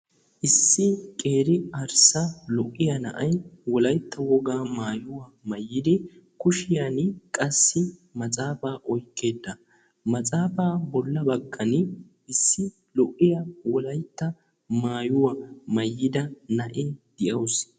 Issi qeeri arssa lo"iyaa na'ay Wolaytta woaga maayuwa maayyidi kushiyaan qassi matsaafa oyqqida matsaafa bolla baggan issi lo"iyaa Wolaytta wogaa maayuwa maayyida na'iyaa de'awus.